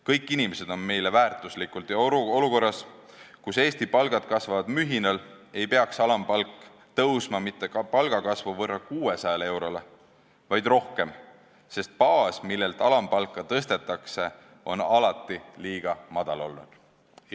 Kõik inimesed on meile väärtuslikud ja olukorras, kus Eesti keskmine palk kasvab mühinal, ei peaks alampalk tõusma mitte 600 euroni, vaid rohkem, sest baas, millelt alampalka tõstetakse, on alati liiga väike olnud.